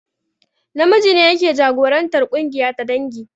Namiji ne yake jagorantar ƙungiya ta dangi